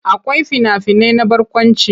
Akwai fina-finai na barkwanci.